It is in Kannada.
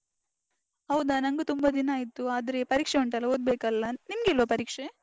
ಹೌದಾ, ನಂಗು ತುಂಬ ದಿನ ಆಯ್ತು ಆದ್ರೆ ಪರೀಕ್ಷೆ ಉಂಟಲ್ಲ, ಓದ್ಬೇಕಲ್ಲ. ನಿಮ್ಗಿಲ್ವಾ ಪರೀಕ್ಷೆ?